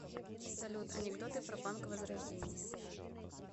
салют анекдоты про банк возрождение